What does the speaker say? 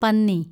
പന്നി